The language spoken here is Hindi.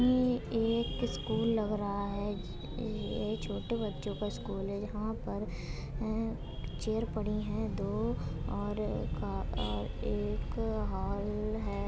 ई एक स्कूल लग रहा है। ज़्ज़्ज़ ज़्ज़्ज़ ये छोटे बच्चों का स्कूल है। यहाँ पर अ चेयर पड़ी है दो और का अ एक हॉल है।